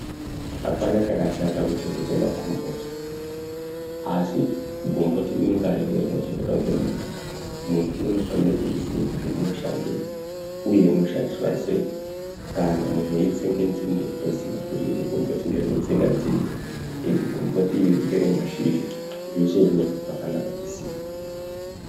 Apana chakashata kuchengeta makomboti asi gomboti rimwe narimwe rinochengetwa nemuntu ,muntu anofana kuriziva kuti rinoshandei uye rinoshandiswa sei kana muntu eitsenga nzinde oziya kuti gomboti iri ndere kutsenga nzinde iri gomboti iri neremashinja zveshe izvozvo zvakanaka kuziya.